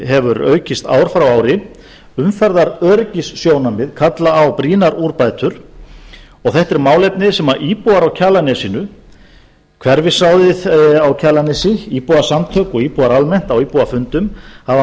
hefur aukist ár frá ári umferðaröryggissjónarmið kalla á brýnar úrbætur og þetta er málefni sem íbúar á kjalarnesinu hverfisráðið á kjalarnesi íbúasamtök og íbúar almennt á íbúafundum hafa